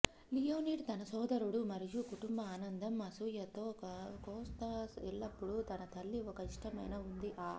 Leonid తన సోదరుడు మరియు కుటుంబ ఆనందం అసూయతో కోస్త్య ఎల్లప్పుడూ తన తల్లి ఒక ఇష్టమైన ఉంది ఆ